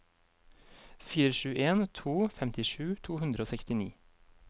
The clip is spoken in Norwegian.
fire sju en to femtisju to hundre og sekstini